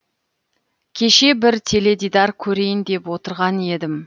кеше бір теледидар көрейін деп отырған едім